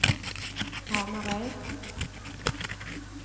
Hamarøy